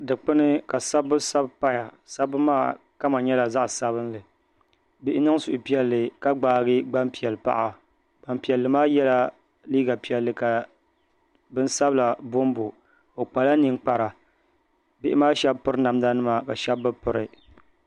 Dikpuni ka sabbu sabi paya sabbu maa kama nyɛla zaɣ sabinli bihʋ niŋ suhupiɛlli ka gbaagi gbanpiɛli paɣa Gbanpiɛli maa yɛla liiga piɛlli ka bin sabila bonbo o kpala ninkpara bihi maa shab piri namda nima ka shab bi piri